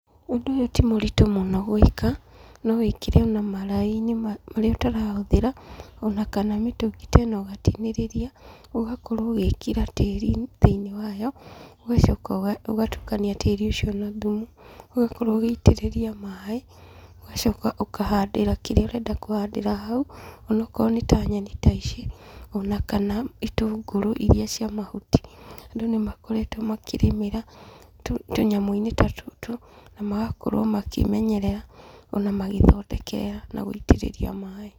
Ũndũ ũyũ ti mũritũ mũno gũĩka, no wĩkĩre ona maraĩ-inĩ marĩa ũtarahũthĩra, ona kana mĩtũngi ta ĩno ũgatinĩrĩria ũgakorwo ũgĩĩkĩra tĩri thĩinĩ wayo, ũgacoka ũgatukania tĩri ũcio na thumu, ũgakorwo ũgĩitĩrĩria maaĩ, ũgacoka ũkahandĩra kĩrĩa ũrenda kũhandĩra hau, ona okorwo nĩ ta nyeni ta ici ona kana ĩtũngũru ĩrĩa cia mahuti, andũ nĩ makoretwo makĩrĩmĩra tũnyamu-ini ta tũtũ na magakorwo makĩmenyerera, ona magĩthondekera na gũitirĩria maaĩ.